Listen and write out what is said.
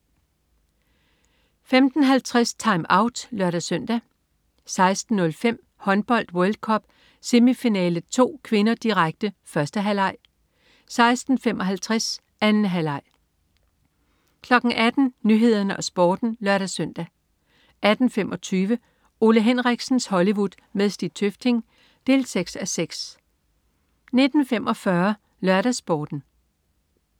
15.50 TimeOut (lør-søn) 16.05 Håndbold: World Cup. Semifinale 2 (k), direkte. 1. halvleg 16.55 Håndbold: World Cup. Semifinale 2 (k), direkte. 2. halvleg 18.00 Nyhederne og Sporten (lør-søn) 18.25 Ole Henriksens Hollywood med Stig Tøfting 6:6 19.45 LørdagsSporten